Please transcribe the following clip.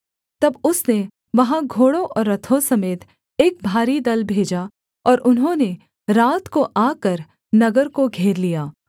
तब उसने वहाँ घोड़ों और रथों समेत एक भारी दल भेजा और उन्होंने रात को आकर नगर को घेर लिया